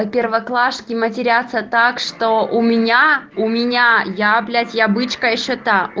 первоклашки матерятся так что у меня у меня я блять я бычка ещё та